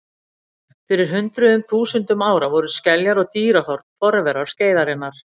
Fyrir hundruðum þúsunda ára voru skeljar og dýrahorn forverar skeiðarinnar.